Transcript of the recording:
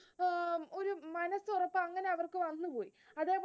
അവർക്കു വന്നു പോയി